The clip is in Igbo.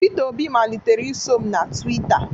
Pita Obi malitere iso m na Twitta.